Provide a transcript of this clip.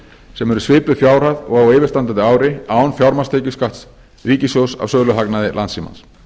sem er svipuð fjárhæð og á yfirstandandi ári án fjármagnstekjuskatts ríkissjóðs af söluhagnaði landssímans